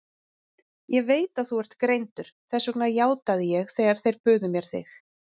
Ég veit að þú ert greindur, þess vegna játaði ég þegar þeir buðu mér þig.